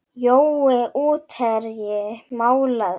Jói útherji málið?